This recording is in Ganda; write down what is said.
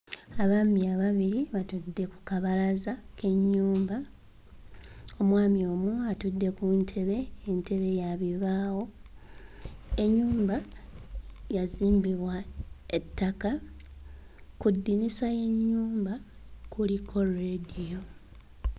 Abaana ababiri batudde ku kabalaza k'ennyumba; omwami omu atudde ku ntebe, entebe ya bibaawo ennyumba yazimbibwa ettaka, ku ddirisa ly'ennyumba kuliko leediyo.